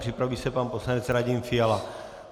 Připraví se pan poslanec Radim Fiala.